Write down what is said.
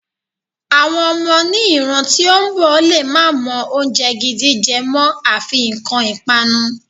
Àwọn ọmọ ni ìran tí ó ń bọ̀ lè má mọ oúnjẹ gidi jẹ mọ́, afi nǹkan ipanu.